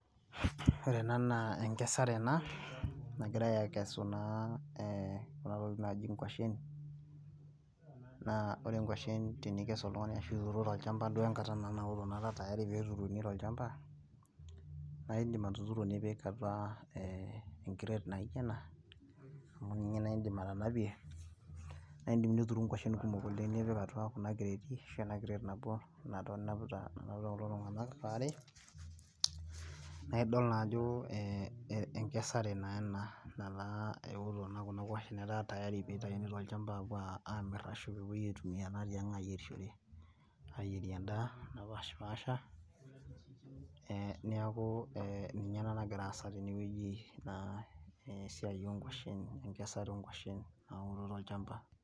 ore ena naa enkasare ena. nagirae aakesu kuna tokitin naaji inkwashen. naa ore nkwashen tenikes oltungani, ashu tenituru tolchampa enkata nara tayari enkata naturuni tolchampa. naa idim atuturu nipik atua enkireet naijo ena, amu ninye na idim atanapie, na idim nituru nkwashen kumok oleng nipik atua kuna kireeti. ashu enakireet nabo, enaduo ninapita, nanapita kulo tunganak waare. naa idol naa ajo enkesare naa ena. metaa eoto naa kuna kwashen etaa keiji pee itayuni tolchampa aapuo amir ashu epuoi aitumia tiang' ayierishore. ayierie edaa, napashipaasha, neeku ee ninye ena nagira asa tene weuji, naa esiai oo nkwashen. enkesare oo nkwashen nauore olchampa.